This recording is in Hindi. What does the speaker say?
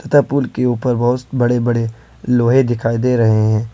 तथा पुल के ऊपर बहोत बड़े बड़े लोहे दिखाई दे रहे हैं।